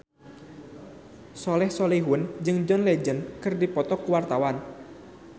Soleh Solihun jeung John Legend keur dipoto ku wartawan